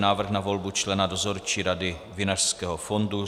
Návrh na volbu člena Dozorčí rady Vinařského fondu